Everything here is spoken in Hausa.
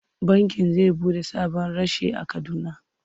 Bankin zai buɗe sabon reshe a Kaduna.